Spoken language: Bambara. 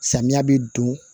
Samiya bɛ don